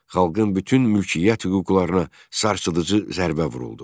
Xalqın bütün mülkiyyət hüquqlarına sarsıdıcı zərbə vuruldu.